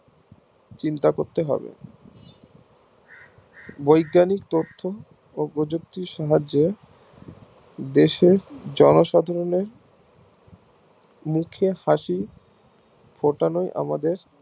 চিন্তা করতে হবে বৈজ্ঞানিক তথ্য ও প্রযুক্তির সাহায্যে দেশের জন সাধারণের মুখে হাসি ফোটানোই আমাদের